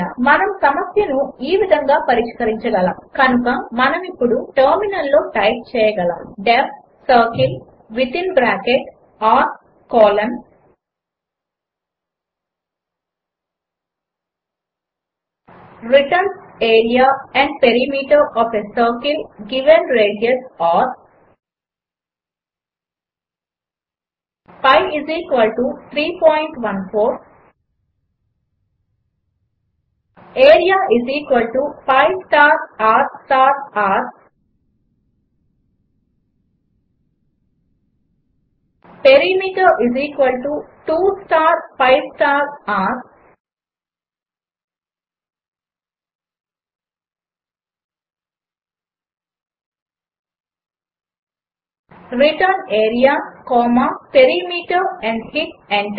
మనము సమస్యను ఈ విధంగా పరిష్కరించగలము కనుక మనం ఇప్పుడు టెర్మినల్లో టైప్ చేయగలము D E F circle within bracket r colon returns area and perimeter O F a circle given radius r pi 314 area pi star r star r perimeter 2 star pi star r return area comma perimeter and hit enter